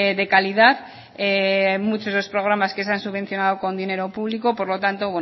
de calidad hay muchos programas que se han subvencionado con dinero público por lo tanto